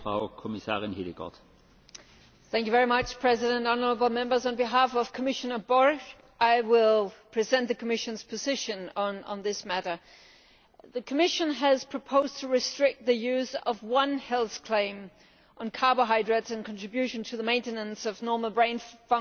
Mr President, honourable Members, on behalf of Commissioner Borg I will present the Commission's position on this matter. The Commission has proposed to restrict the use of one health claim on carbohydrates and their contribution to the maintenance of normal brain function'